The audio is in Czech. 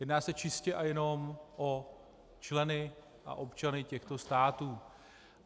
Jedná se čistě a jenom o členy a občany těchto států.